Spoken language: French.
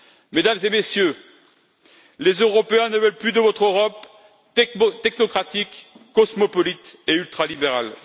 Mesdames et Messieurs, les Européens ne veulent plus de votre Europe technocratique, cosmopolite et ultralibérale.